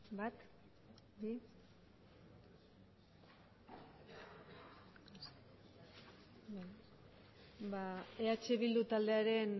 bat bi ba eh bildu taldearen